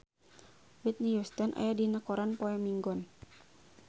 Whitney Houston aya dina koran poe Minggon